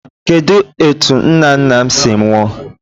Kedụ etu nna nna m si nwụọ?